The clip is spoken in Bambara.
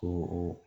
Ko